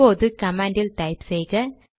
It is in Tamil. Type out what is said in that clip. இப்போது கமாண்ட் டைப் செய்க